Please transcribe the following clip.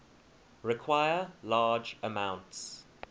require large amounts